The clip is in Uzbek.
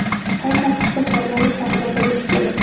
qay tartibda saylanishi haqida bilishi kerak.